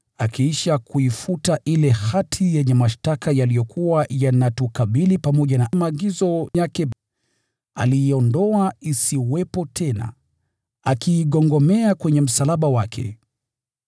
akiisha kuifuta ile hati yenye mashtaka yaliyokuwa yanatukabili, pamoja na maagizo yake. Aliiondoa isiwepo tena, akiigongomea kwenye msalaba wake.